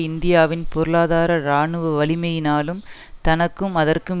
இந்தியாவின் பொருளாதார இராணுவ வலிமையினாலும் தனக்கும் அதற்கும்